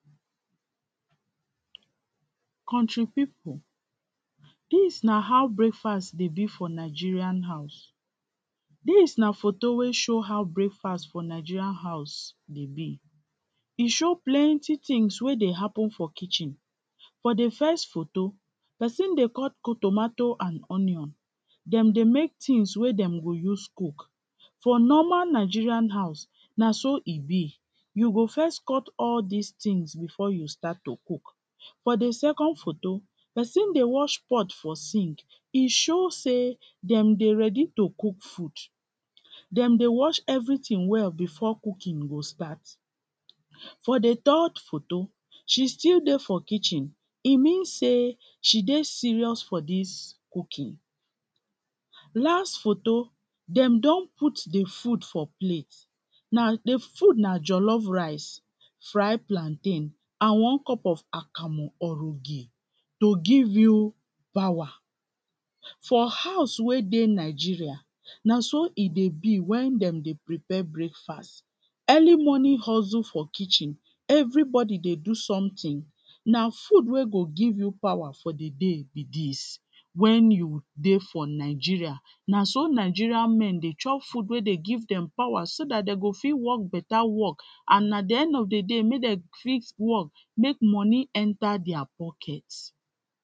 country people, dis na how breakfast dey be for Nigerian house, this na photo wey show how breakfast for Nigerian house dey be e show plenty things wey dey happen for kitchen. For the first photo person dey cut tomato and onion dem dey make tins wey dem go use cook. For normal Nigerian house. na so e be you go first cut all these things before you start to cook. For the second photo person dey wash pot for sink e show say dem dey ready to cook food dem dey wash everything well before cooking go start for the third photo she still dey for kitchen e mean say she dey serious for this cooking last photo dem don put the food for plates now the food na jollof rice fried plantain and one cup of akamo, orogi to give you power for house wey dey Nigeria na so e dey be when dem tdey prepare breakfast early morning hustle for kitchen everybody they do something now food will go give you power for the day be this when you dey for Nigeria na so Nigerian men dey chop food where they give them power so that they go fi work better work and at the end of the day may they fi work make money enter their pockets.